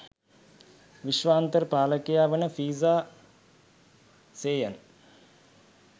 විශ්වාන්තර පාලකයා වන ෆ්‍රිසා සේයන්